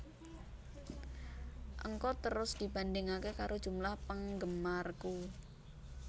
Ngko terus dibandhingake karo jumlah penggemarku